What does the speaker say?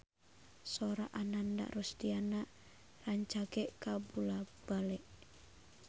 Sora Ananda Rusdiana rancage kabula-bale